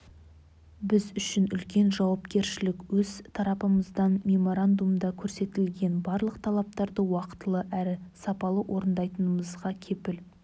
біз үшін үлкен жауапкершілік өз тарапымыздан меморандумда көрсетілген барлық талаптарды уақытылы әрі сапалы орындайтындығымызға кепіл